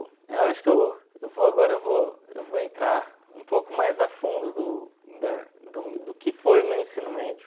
Eu acho eu eu vou agora eu vou eu vou entrar um pouco mais a fundo do da do do que foi o meu ensino médio.